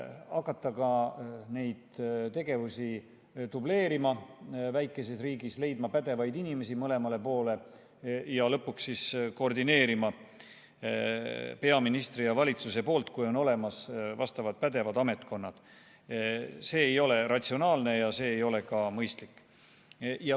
Hakata ka neid tegevusi dubleerima, väikeses riigis leidma pädevaid inimesi mõlemale poole ja lõpuks koordineerima peaministri ja valitsuse poolt, kui on olemas vastavad pädevad ametkonnad, see ei ole ratsionaalne ja see ei ole ka mõistlik.